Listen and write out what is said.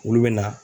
Olu bɛ na